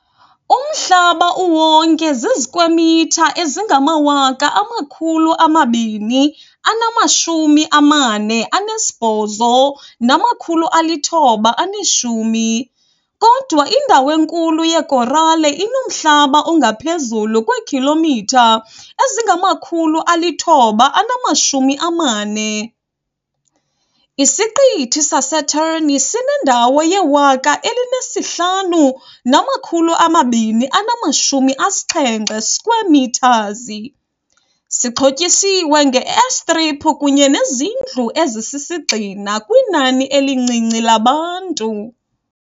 Umhlaba uwonke zizikwemitha ezingama-248,910, kodwa indawo enkulu yekorale inomhlaba ongaphezulu kweekhilomitha ezingama-940. Isiqithi saseTern sinendawo ye-105,270 square metres, sixhotyisiwe nge-airstrip kunye nezindlu ezisisigxina kwinani elincinci labantu.